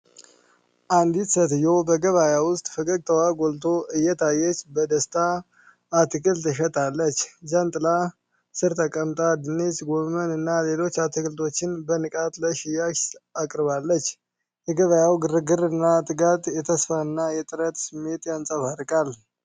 አንዲት ሴትዮ በገበያ ውስጥ ፈገግታዋ ጎልቶ እየታየች በደስታ አትክልት ትሸጣለች። ጃንጥላ ጥላ ሥር ተቀምጣ ድንች፣ ጎመንና ሌሎች አትክልቶችን በንቃት ለሽያጭ አቅርባለች። የገበያው ግርግር እና ትጋት የተስፋ እና የጥረትን ስሜት ያንጸባርቃል።